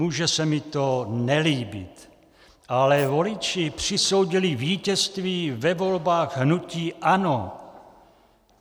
Může se mi to nelíbit, ale voliči přisoudili vítězství ve volbách hnutí ANO.